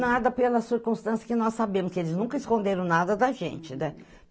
Nada pela circunstância que nós sabemos, porque eles nunca esconderam nada da gente, né?